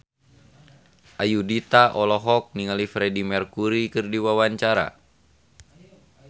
Ayudhita olohok ningali Freedie Mercury keur diwawancara